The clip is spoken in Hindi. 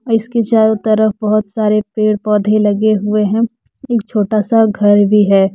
इसके चारों तरफ बहुत सारे पेड़ पौधे लगे हुए हैं एक छोटा सा घर भी है।